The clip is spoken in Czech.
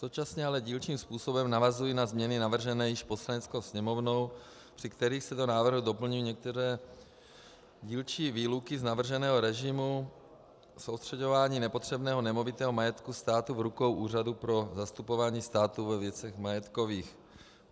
Současně ale dílčím způsobem navazují na změny navržené již Poslaneckou sněmovnou, při kterých se do návrhu doplňují některé dílčí výluky z navrženého režimu soustřeďování nepotřebného nemovitého majetku státu v rukou Úřadu pro zastupování státu ve věcech majetkových.